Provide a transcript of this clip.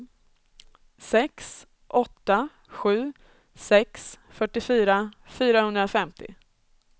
sex åtta sju sex fyrtiofyra fyrahundrafemtio